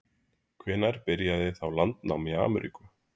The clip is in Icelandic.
Hvenær byrjaði þá landnám í Ameríku?